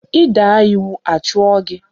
I daa iwu a chụọ gị.